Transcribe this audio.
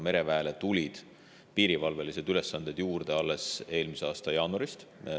Mereväele tulid piirivalvelised ülesanded juurde alles eelmise aasta jaanuarist.